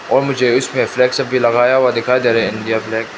और मुझे इसमें फ्लैग सब भी लगाया हुआ दिखाई दे रहे है इंडिया फ्लैग --